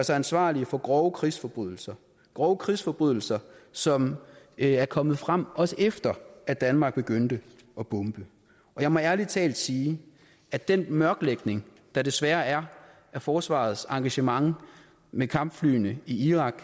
sig ansvarlige for grove krigsforbrydelser grove krigsforbrydelser som er kommet frem også efter at danmark begyndte at bombe jeg må ærlig talt sige at den mørklægning der desværre er af forsvarets engagement med kampflyene i irak